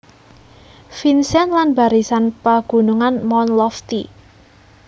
Vincent lan Barisan Pagunungan Mount Lofty